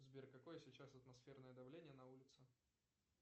сбер какое сейчас атмосферное давление на улице